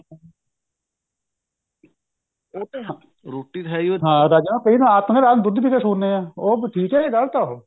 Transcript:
ਰੋਟੀ ਤਾਂ ਹੈ ਓ ਏ ਐ ਫੇਰ ਨਾ ਆਪਾਂ ਨਾ ਰਾਤ ਨਾ ਦੁੱਧ ਪੀਕੇ ਸੋਨੇ ਆ ਉਹ ਠੀਕ ਐ ਜਾ ਗਲਤ ਐ ਉਹ